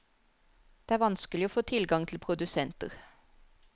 Det er vanskelig å få tilgang til produsenter.